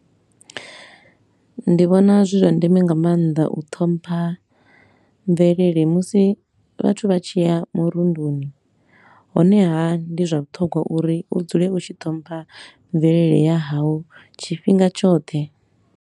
Ndi vhona zwi zwa ndeme nga maanḓa u ṱhompha mvelele musi vhathu vha tshi a murunduni, honeha ndi zwa vhuṱhogwa uri hu dzule u tshi ṱhompha mvelele ya hau tshifhinga tshoṱhe.